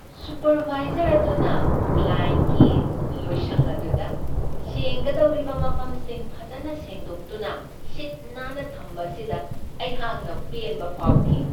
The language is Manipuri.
ꯁꯨꯄꯔꯕꯥꯏꯖꯔ ꯑꯗꯨꯅ ꯀ꯭ꯂꯥꯌꯦꯟꯠꯀꯤ ꯂꯣꯏꯁꯪ ꯑꯗꯨꯗ ꯁꯦꯡꯒꯗꯧꯔꯤꯕ ꯃꯐꯝꯁꯤꯡ ꯐꯖꯅ ꯁꯤꯟꯗꯣꯛꯇꯨꯅ ꯁꯤꯠ ꯅꯥꯟꯅ ꯊꯝꯕ ꯑꯁꯤꯗ ꯑꯩꯍꯥꯛꯅ ꯄꯦꯟꯕ ꯐꯥꯎꯈꯤ ꯫